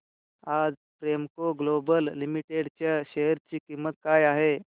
आज Premco global limited च्या share ची किंमत काय आहे